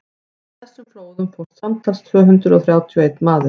í þessum flóðum fórst samtals tvö hundruð þrjátíu og einn maður